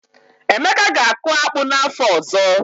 Emeka ga-akụ akpu n’afọ ọzọ.